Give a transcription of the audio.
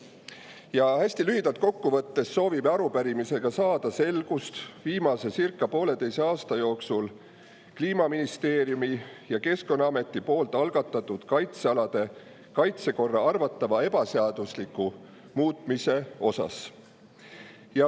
Ja hästi lühidalt kokku võttes soovime arupärimisega saada selgust viimase circa pooleteise aasta jooksul Kliimaministeeriumi ja Keskkonnaameti algatatud kaitsealade kaitsekorra arvatavas ebaseaduslikus muutmises.